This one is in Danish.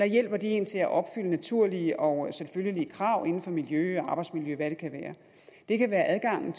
hjælper én til at opfylde naturlige og selvfølgelige krav inden for miljø arbejdsmiljø eller hvad det kan være det kan være adgangen